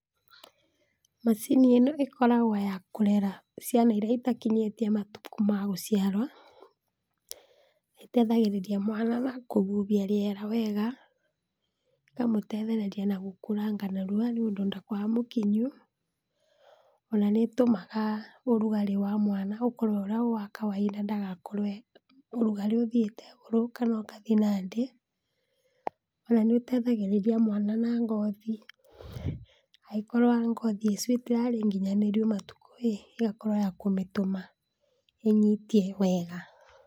Macini ĩno ĩkoragwo ya kũrera ciana iria itakinyĩtie matukũ ma gũciarwa, ĩteithagĩrĩria mwana na kũhuhia rĩera wega , ĩkamũteithĩrĩria na gũkũranga narua, nĩũndũ ndakoragwo e mũkinyu, ona nĩtũmaga ũrũgarĩ wa mwana ũkore ũrĩa wa kawainda, ndagakorwe ũrũgarĩ ũthiete igũrũ kana ũkathiĩ na thĩ, ona nĩũteithagĩrĩria mwana na ngothi, angĩkorwa ngothi icu ĩtĩrarĩ nginyanĩru matuko, ĩgakorwo yakũmĩtũma ĩnyitie wega.